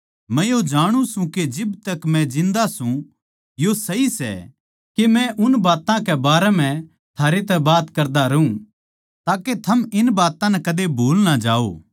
मै यो जाणु सूं के जिब तक मै जिन्दा सूं यो सही सै के मै उन बात्तां के बारें म्ह थारे तै बात करता रहूँ ताके थम इन बात्तां नै कदे भूल ना जाओ